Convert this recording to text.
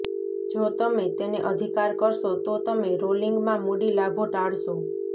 જો તમે તેને અધિકાર કરશો તો તમે રોલિંગમાં મૂડી લાભો ટાળશો